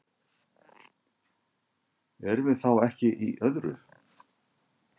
Erum við þá ekki í öðru?